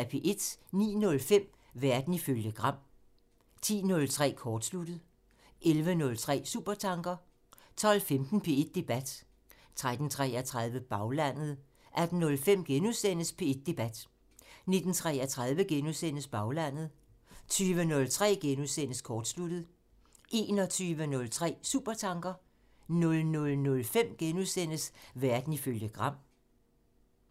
09:05: Verden ifølge Gram (tir) 10:03: Kortsluttet (tir) 11:03: Supertanker (tir) 12:15: P1 Debat (tir-tor) 13:33: Baglandet (tir) 18:05: P1 Debat *(tir-tor) 19:33: Baglandet *(tir) 20:03: Kortsluttet *(tir) 21:03: Supertanker (tir) 00:05: Verden ifølge Gram *(tir)